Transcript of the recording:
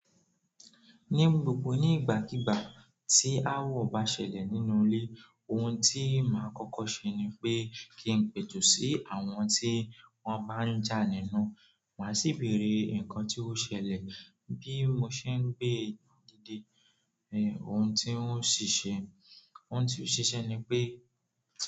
Ní gbogbo nígbàkigbà tí awọ bá ṣẹlẹ̀ nínú ilé, ohun tí màá kọ́kọ́ ṣe ni pé kí n pètù sí àwọn tí wọ́n bá ń jà nínú. Màá sì bèèrè nǹkan tí ó ṣẹlẹ̀ bí mo ṣe ń gbé dídé. Ẹ̀h, ohun tí n o ṣi ṣe, ohun tí ó ṣi ṣẹ́ ni pé.